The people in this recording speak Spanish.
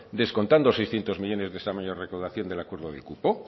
descontando seiscientos millónes de esta mayor recaudación del acuerdo del cupo